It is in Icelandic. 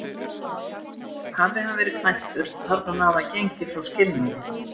Hafi hann verið kvæntur, þarf hann að hafa gengið frá skilnaði.